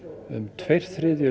um tveir þriðju